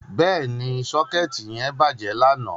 Bẹ́ẹ̀ni, socket yẹn bàjẹ́ lánàá.